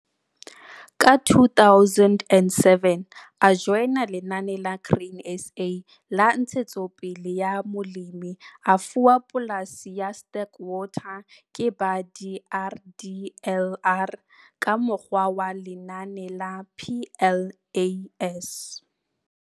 Ka 2007, a joina Lenaneo la Grain SA la Ntshetsopele ya Molemi, a fuwa polasi ya Sterkwater ke ba DRDLR ka mokgwa wa Lenaneo la PLAS.